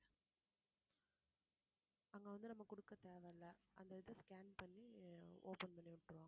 அங்க வந்து நம்ம குடுக்க தேவையில்ல அந்த இதை scan பண்ணி open பண்ணி விட்டுருவாங்க